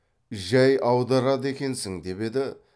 жай аударады екенсің деп еді